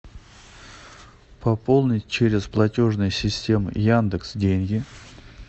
пополнить через платежные системы яндекс деньги